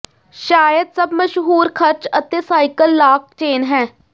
ਸ਼ਾਇਦ ਸਭ ਮਸ਼ਹੂਰ ਖਰਚ ਅਤੇ ਸਾਈਕਲ ਲਾਕ ਚੇਨ ਹੈ